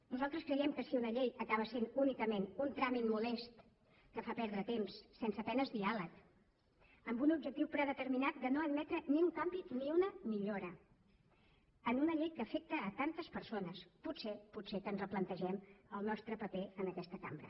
nosaltres creiem que si una llei acaba sent únicament un tràmit molest que fa perdre temps sense a penes diàleg amb un objectiu predeterminat de no admetre ni un canvi ni una millora en una llei que afecta tantes persones potser potser que ens replantegem el nostre paper en aquesta cambra